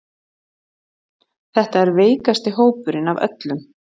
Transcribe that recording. Þetta er veikasti hópurinn af öllum